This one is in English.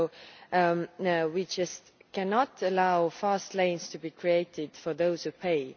So we just cannot allow fast lanes to be created for those who pay.